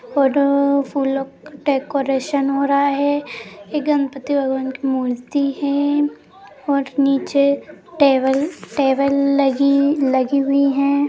Photo फूलों का decoration हो रहा है ए गणपती भगवान की मूर्ति है और नीचे टेबल टेबल लगी लगी हुई है।